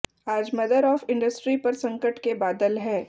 आज mother of industry पर संकट के बादल हैं